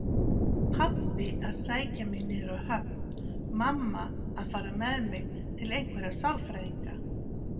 Pabbi að sækja mig niður á höfn, mamma að fara með mig til einhverra sálfræðinga.